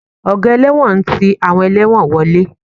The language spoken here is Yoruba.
Ọ̀gá ẹlẹ́wọ̀n ń ti àwọn ẹlẹ́wọ̀n wọlé